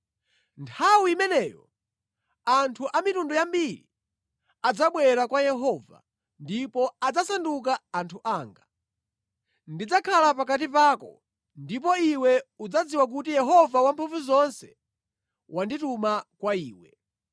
“Nthawi imeneyo anthu a mitundu yambiri adzabwera kwa Yehova ndipo adzasanduka anthu anga. Ndidzakhala pakati pako ndipo iwe udzadziwa kuti Yehova Wamphamvuzonse wandituma kwa iwe.